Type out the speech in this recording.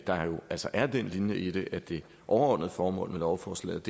der jo altså er den linje i det at det overordnede formål med lovforslaget